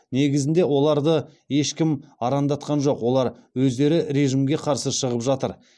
негізінде оларды ешкім арандатқан жоқ олар өздері режимге қарсы шығып жатыр